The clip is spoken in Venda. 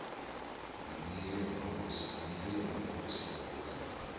na nnu ya mahosi vharangaphana